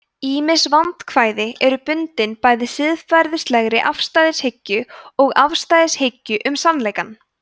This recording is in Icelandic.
ýmis vandkvæði eru bundin bæði siðferðilegri afstæðishyggju og afstæðishyggju um sannleikann